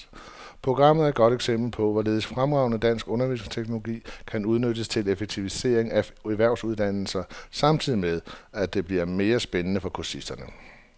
Programmet er et godt eksempel på, hvorledes fremragende dansk undervisningsteknologi kan udnyttes til effektivisering af erhvervsuddannelser samtidig med, at det bliver mere spændende for kursisterne.